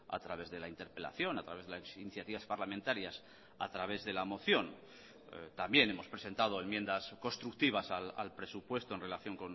a través de la interpelación a través de las iniciativas parlamentarias a través de la moción también hemos presentado enmiendas constructivas al presupuesto en relación